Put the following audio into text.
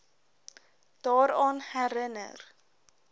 daaraan herin ner